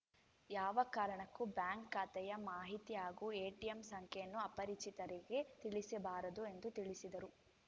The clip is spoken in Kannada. ಯಾವ ಕಾರಣಕ್ಕೂ ಬ್ಯಾಂಕ್‌ ಖಾತೆಯ ಮಾಹಿತಿ ಹಾಗೂ ಎಟಿಎಂ ಸಂಖ್ಯೆಯನ್ನು ಅಪರಿಚಿತರಿಗೆ ತಿಳಿಸಬಾರದು ಎಂದು ತಿಳಿಸಿದರು